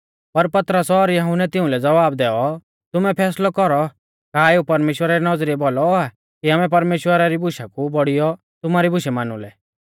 पर पतरस और यहुन्नै तिउंलै ज़वाब दैऔ तुमै फैसलौ कौरौ का एऊ परमेश्‍वरा री नौज़रीऐ भौलौ आ कि आमै परमेश्‍वरा री बुशा कु बौड़ियौ तुमारी बुशै मानु लै